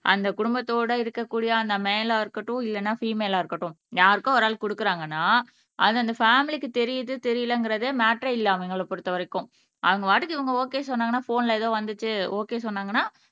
அந்த குடும்பத்தோட இருக்கக் கூடிய அந்த மேலா இருக்கட்டும் இல்லைன்னா விமேலா இருக்கட்டும் யாருக்கோ ஒரு ஆள் கொடுக்குறாங்கன்னா அது அந்த பேமிலிக்கு தெரியுது தெரியலைங்கிறதே மேட்டரே இல்லை அவங்களை பொறுத்தவரைக்கும் அவங்க பாட்டுக்கு இவங்க ஒகே சொன்னாங்கன்னா போன்ல ஏதோ வந்துச்சு ஒகே சொன்னாங்கன்னா